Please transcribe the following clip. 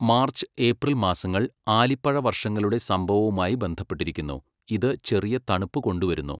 March, April മാസങ്ങൾ ആലിപ്പഴ വർഷങ്ങളുടെ സംഭവവുമായി ബന്ധപ്പെട്ടിരിക്കുന്നു, ഇത് ചെറിയ തണുപ്പ് കൊണ്ടുവരുന്നു.